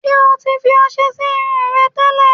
Ṣé o ti fi ọṣẹ sí irun rẹ tẹ́lẹ̀?